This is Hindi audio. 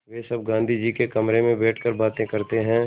वे सब गाँधी जी के कमरे में बैठकर बातें करते हैं